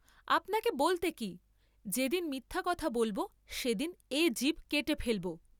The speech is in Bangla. আপনাকে বলতে কি, যে দিন মিথ্যা কথা বলব সেদিন এ জিব কেটে ফেলব।